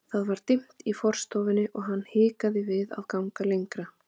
Það var dimmt í forstofunni og hann hikaði við að ganga lengra.